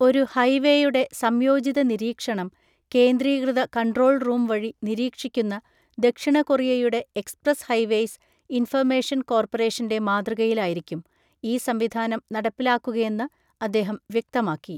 ഒരു ഹൈവേയുടെ സംയോജിത നിരീക്ഷണം, കേന്ദ്രീകൃത കണ്ട്രോൾ റൂം വഴി നിരീക്ഷിക്കുന്ന ദക്ഷിണ കൊറിയയുടെ എക്സ്പ്രസ്സ് ഹൈവേയ്സ് ഇൻഫർമേഷൻ കോർപ്പറേഷൻ്റെ മാതൃകയിലായിരിക്കും, ഈ സംവിധാനം നടപ്പിലാക്കുകയെന്ന് അദ്ദേഹം വ്യക്തമാക്കി.